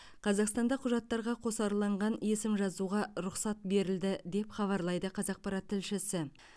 қазақстанда құжаттарға қосарланған есім жазуға рұқсат берілді деп хабарлайды қазақпарат тілшісі